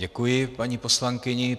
Děkuji paní poslankyni.